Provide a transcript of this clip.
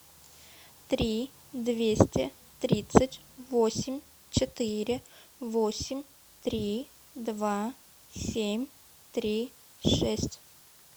три двести тридцать восемь четыре восемь три два семь три шесть